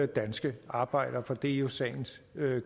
danske arbejdere for det er jo sagens